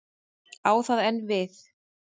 Á það enn við?